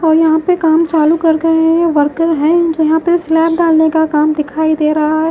और यहां पे काम चालू कर के हैं वर्कर हैं जो यहां पे स्लैब डालने का काम दिखाई दे रहा है।